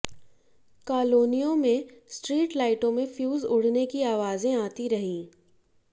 कालोनियों में स्ट्रीट लाइटों में फ्यूज उड़ने की आवाजें आती रही